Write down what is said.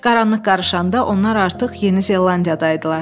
Qaranlıq qarışanda onlar artıq Yeni Zelandiyada idilər.